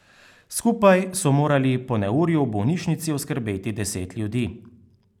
Skupaj so morali po neurju v bolnišnici oskrbeti deset ljudi.